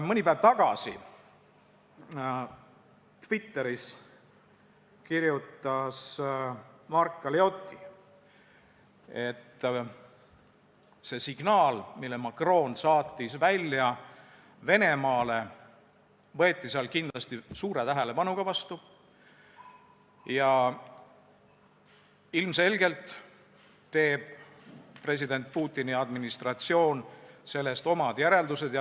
Mõni päev tagasi kirjutas Mark Galeotti Twitteris, et see signaal, mille Macron saatis välja Venemaa jaoks, võeti seal kindlasti suure tähelepanuga vastu ja ilmselgelt teeb president Putini administratsioon sellest omad järeldused.